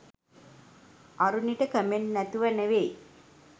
අරුණිට comment නැතුව නෙවේ